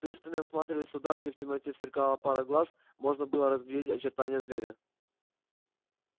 пристально я всматриваясь туда где в темноте сверкала пара глаз можно было разглядеть очертание зверя